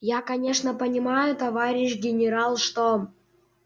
я конечно понимаю товарищ генерал что